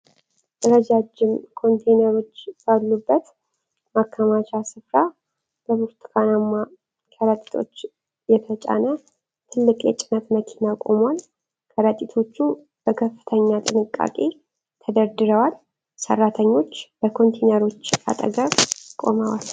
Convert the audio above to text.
ረጃጅም ኮንቴይነሮች ባሉበት ማከማቻ ስፍራ በብርቱካናማ ከረጢቶች የተጫነ ትልቅ የጭነት መኪና ቆሟል። ከረጢቶቹ በከፍተኛ ጥንቃቄ ተደርድረዋል። ሠራተኞች ከኮንቴይነሮቹ አጠገብ ቆመዋል።